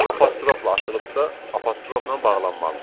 Apostrofla açılıbsa, apostrofla bağlanmalıdır.